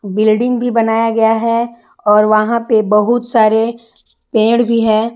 Building भी बनाया गया है और वहां पे बहुत सारे पेड़ भी है।